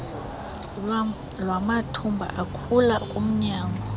lwamathumba akhula kumnyango